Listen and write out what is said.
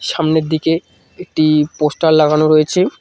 সামনের দিকে একটি পোস্টার লাগানো রয়েছে।